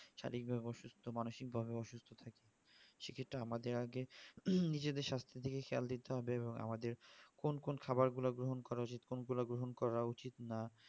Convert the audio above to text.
শারীরিক ভাবে অসুস্থ মানসিক ভাবে অসুস্থ থাকি সেক্ষেত্রে আমাদের আগে নিজেদের সাস্থের দিকে খেয়াল দিতে হবে এবং আমাদের কোন কোন খাবার গুলো গ্রহণ করা উচিত কোন গুলো উচিত নয়